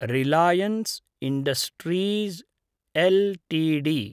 Reliance industries LTD